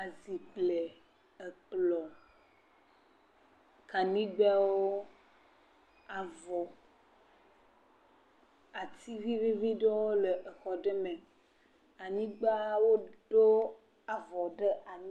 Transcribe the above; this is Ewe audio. Azi kple ekplɔ̃, kaɖigbɛwo, ati vivivi ɖewo le exɔ ɖe me. Anyigba, woɖo avɔ ɖe anyi.